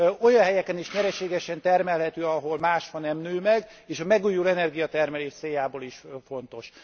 Olyan helyeken is nyereségesen termelhető, ahol más fa nem nő meg, és a megújuló energiatermelés céljából is fontos.